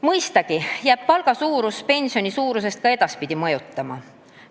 Mõistagi jääb palga suurus ka edaspidi pensioni suurust mõjutama.